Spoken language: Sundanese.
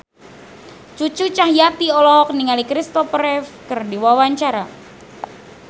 Cucu Cahyati olohok ningali Christopher Reeve keur diwawancara